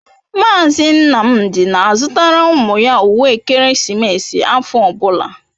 Mazị Nnamdị na-azụtara ụmụ ya uwe ekeresimesi afọ ọbụla.